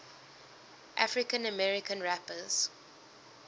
african american rappers